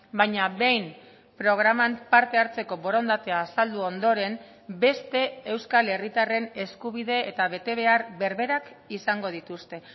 baina behin programan parte hartzeko borondatea azaldu ondoren beste euskal herritarren eskubide eta betebehar berberak izango dituzte